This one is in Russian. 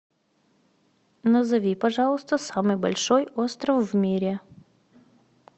назови пожалуйста самый большой остров в мире